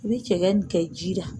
I bɛ cɛkɛ nin kɛ ji la.